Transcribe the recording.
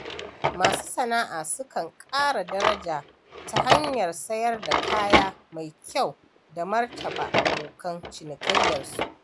Masu sana'a sukan ƙara daraja ta hanyar sayar da kaya mai kyau da martaba abokan cinikiyyarsu.